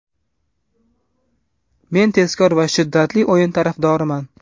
Men tezkor va shiddatli o‘yin tarafdoriman.